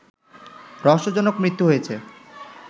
রহস্যজনক মৃত্যু হয়েছে